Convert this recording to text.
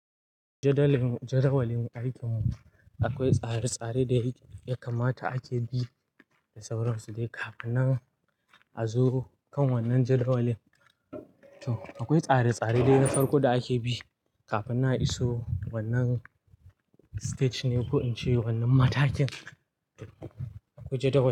Jadawalin aikin mu akwai tsare-tsare da ya kamata ake bi da sauran su dai. Kafin nan a zo kan wannan jadawalin, to akwai tsare-tsare da ya farko da ake bi kafin nan a iso wannan stage ne ko in ce wannan matakin. Akwai jadawali.